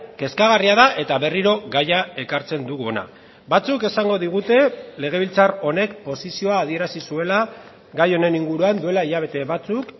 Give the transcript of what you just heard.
kezkagarria da eta berriro gaia ekartzen dugu hona batzuk esango digute legebiltzar honek posizioa adierazi zuela gai honen inguruan duela hilabete batzuk